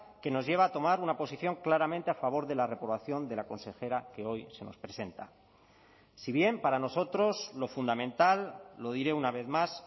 que nos lleva a tomar una posición claramente a favor de la reprobación de la consejera que hoy se nos presenta si bien para nosotros lo fundamental lo diré una vez más